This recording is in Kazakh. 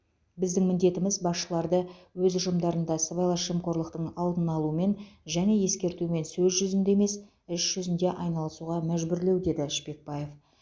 біздің міндетіміз басшыларды өз ұжымдарында сыбайлас жемқорлықтың алдын алумен және ескертумен сөз жүзінде емес іс жүзінде айналысуға мәжбүрлеу деді шпекбаев